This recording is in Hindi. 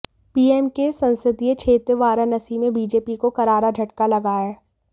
पीएम के संसदीय क्षेत्र वाराणसी में बीजेपी को करारा झटका लगा है